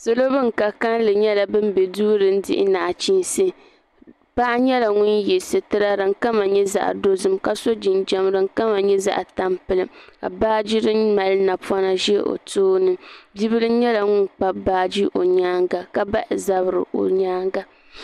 salo bin ka kanli nyɛla bin bɛ duu din dihi nachiinsi paɣa nyɛla ŋun yɛ sitira din kama nyɛ nyɛ zaɣ dozim ka so jinjɛm din kama nyɛ zaɣ tampilim ka baaji din mali naba ʒɛ o tooni bi bil nyɛla ŋun kpabi baaji o nyaanga ka bahi zabiri o nyaanga